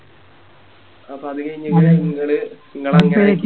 അപ്പൊ അത് കഴിഞ്ഞ് ഇങ്ങനെ ഇങ്ങള്